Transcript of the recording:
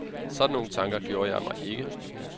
Sådan nogle tanker gjorde jeg mig ikke.